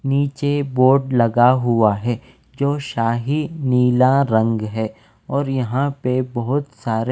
नीचे बोर्ड लगा हुआ है जो शाही नीला रंग है और यहाँ पर बहुत --